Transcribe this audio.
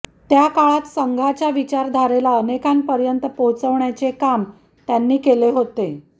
त्या काळात संघाच्या विचारधारेला अनेकांपर्यंत पोहोचवण्याचे काम त्यांनी केले होते